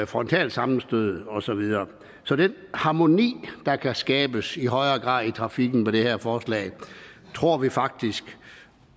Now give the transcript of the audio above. frontalsammenstød og så videre så den harmoni der kan skabes i højere grad i trafikken på det her forslag tror vi faktisk